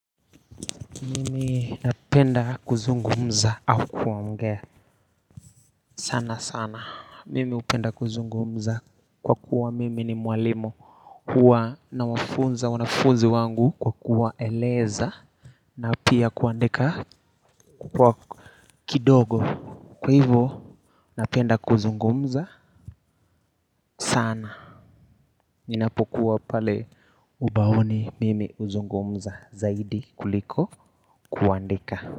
Mimi napenda kuzungumza au kuongea, sana sana, mimi hupenda kuzungumza kwa kuwa mimi ni mwalimu huwa nawafunza wanafunzi wangu kwa kuwaeleza na pia kuandika kwa kidogo, kwa hivo napenda kuzungumza sana, ninapokuwa pale ubaoni, mimi huzungumza zaidi kuliko kuandika.